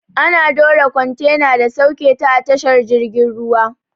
Ana dora kwantena da sauketa a tashar jirgin ruwa.